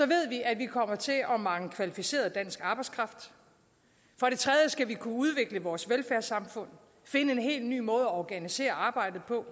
ved vi at vi kommer til at at mangle kvalificeret dansk arbejdskraft for det tredje skal vi kunne udvikle vores velfærdssamfund finde en helt ny måde at organisere arbejdet på